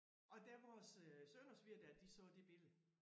Og da vores øh søn og svigerdatter de så det billede